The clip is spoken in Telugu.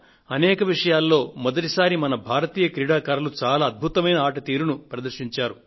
అనేక విషయాలలో మొదటిసారి మన భారతీయ క్రీడాకారులు చాలా అద్భుతమైన ఆట తీరును ప్రదర్శించారు